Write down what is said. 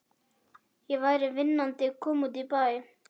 Ég væri vinnandi kona úti í bæ.